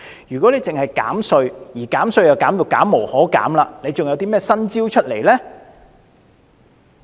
如果只是減稅，而減稅已經減無可減，還有甚麼新招式呢？